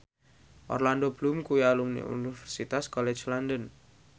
Orlando Bloom kuwi alumni Universitas College London